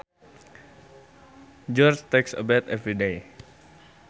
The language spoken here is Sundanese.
George takes a bath every day